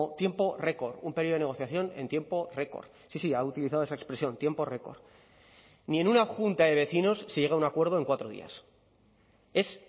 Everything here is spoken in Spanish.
tiempo récord un período de negociación en tiempo récord sí sí ha utilizado esa expresión tiempo record ni en una junta de vecinos se llega a un acuerdo en cuatro días es